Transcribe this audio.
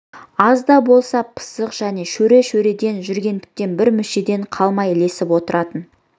аз да болса пысық және шөре-шөреде жүргендіктен бір мүшеден қалмай ілесіп отыратын